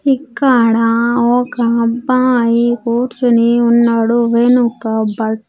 ఇక్కడ ఒక అబ్బాయి కూర్చుని ఉన్నాడు వెనుక బట్--